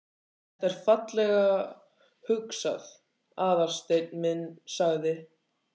Þetta er fallega hugsað, Aðalsteinn minn sagði